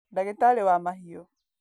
Ndagĩtarĩ wa mahiũ.